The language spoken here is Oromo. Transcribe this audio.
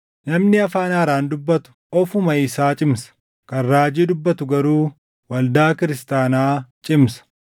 Namni afaan haaraan dubbatu ofuma isaa cimsa; kan raajii dubbatu garuu waldaa kiristaanaa cimsa.